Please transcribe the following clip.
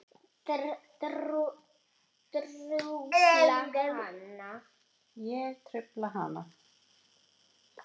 Ég trufla hana.